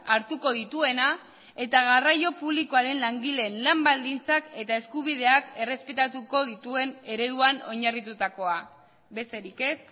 hartuko dituena eta garraio publikoaren langileen lan baldintzak eta eskubideak errespetatuko dituen ereduan oinarritutakoa besterik ez